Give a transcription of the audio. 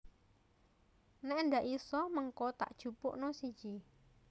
Nek ndak iso mengko tak jupukno siji